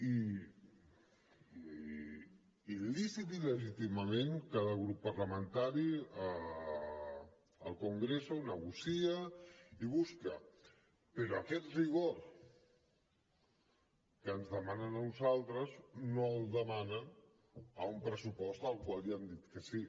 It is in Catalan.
i lícitament i legítimament cada grup parlamentari al congreso ho negocia i busca però aquest rigor que ens demanen a nosaltres no el demanen a un pressupost al qual ja han dit que sí